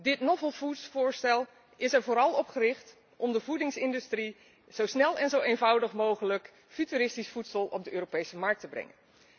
Dit 'novel food' voorstel is er vooral op gericht de voedingsindustrie zo snel en zo eenvoudig mogelijk futuristisch voedsel op de Europese markt te laten brengen.